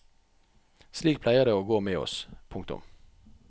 Slik pleier det å gå med oss. punktum